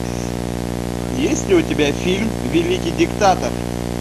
есть ли у тебя фильм великий диктатор